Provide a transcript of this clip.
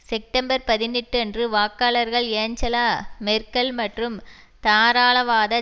September பதினெட்டு அன்று வாக்காளர்கள் ஏஞ்சலா மெர்க்கல் மற்றும் தாராளவாத